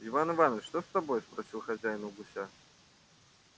иван иваныч что с тобой спросил хозяин у гуся